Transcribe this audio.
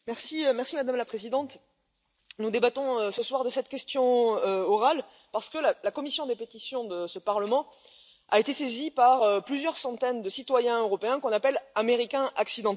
Madame la Présidente, nous débattons ce soir de cette question orale parce que la commission des pétitions de ce Parlement a été saisie par plusieurs centaines de citoyens européens qu'on appelle Américains accidentels.